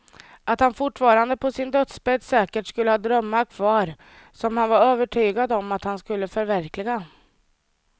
Att han fortfarande på sin dödsbädd säkert skulle ha drömmar kvar som han var övertygad om att han skulle förverkliga.